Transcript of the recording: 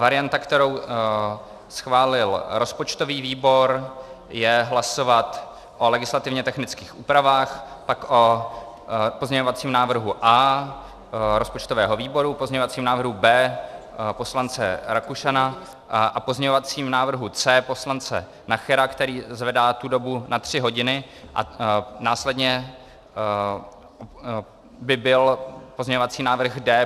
Varianta, kterou schválil rozpočtový výbor, je hlasovat o legislativně technických úpravách, pak o pozměňovacím návrhu A rozpočtového výboru, pozměňovacím návrhu B poslance Rakušana a pozměňovacím návrhu C poslance Nachera, který zvedá tu dobu na tři hodiny, a následně by byl pozměňovací návrh D.